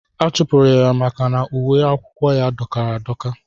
Achụpụ ya maka na dọkara adọka.